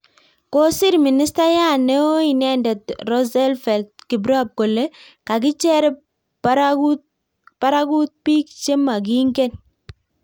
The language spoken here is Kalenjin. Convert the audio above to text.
Kosir ministaiyat neeo inendet Roosevelt kiprop kole kakicher parakutbiik che makingen.